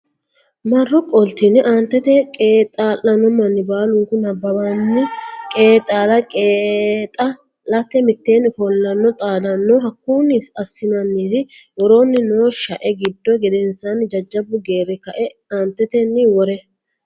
marro qoltine Aantete qeexaa lanno manni baalunku nabbabbinanni qeexaala qeexaa late mitteenni ofollanno xaadanno Hakkunni assinannire woroonni noo shae giddo gedensaanni jajjabbu geerri ka e aantetenni worre.